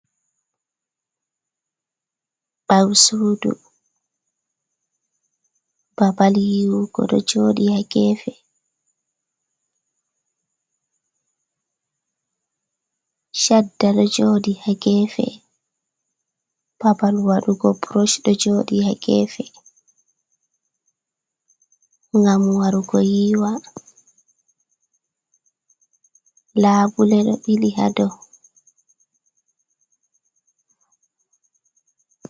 Ɓawsudu, babal yiwugo ɗo joɗi ha gefe, shadda ɗo joɗi ha gefe, babal waɗugo burush ɗo joɗi ha gefe, ngam warugo yiwa, labule ɗo ɓili hadow.